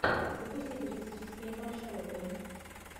запусти туристические маршруты